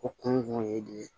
O kun ye de ye